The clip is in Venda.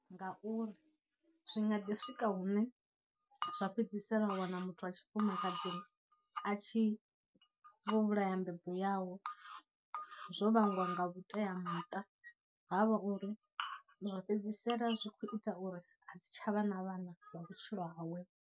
Ngauri zwi nga ḓi swika hune zwa fhedzisela wa wana muthu a tshifumakadzini a tshi vho vhulaya mbebo yawe zwo vhangwa nga vhuteamuṱa, ha vha uri zwa fhedzisela zwi khou ita uri a si tsha vha na vhana lwa vhutshilo hawe.